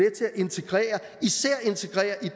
og især integreret